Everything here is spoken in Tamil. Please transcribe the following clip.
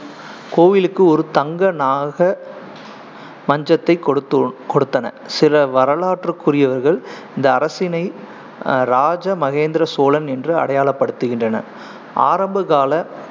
கோவிலுக்கு ஒரு தங்க நாக மஞ்சத்தைக் கொடுத்து கொடுத்தன. சில வரலாற்றுக்குரியவர்கள் இந்த அரசினை இராஜமகேந்திர சோழன் என்று அடையாளப்படுத்துகின்றனர். ஆரம்பகால